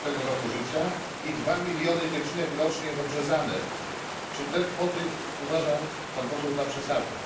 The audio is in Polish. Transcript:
18. roku życia i 2 miliony dziewczynek rocznie jest obrzezanych. Czy te cyfry uważa Pan Poseł za przesadne?